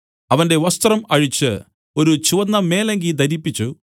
അവന്റെ വസ്ത്രം അഴിച്ച് ഒരു ചുവന്ന മേലങ്കി ധരിപ്പിച്ചു